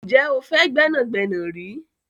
Ǹjẹ́ o fẹ́ gbẹ́nàgbẹ́nà rí?